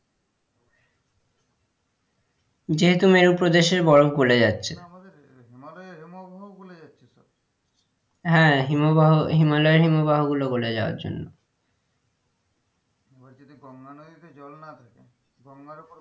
যেহেতু মেরু প্রদেশের বরফ গলে যাচ্ছে আমাদের হিমালয়ের হিমবাহ গলে যাচ্ছে তো হ্যাঁ হিমাবাহ হিমালয়ের হিমবাহ গুলো গলে যাওয়ার জন্য এবার যদি গঙ্গা নদীতে জল না থাকে গঙ্গার উপর,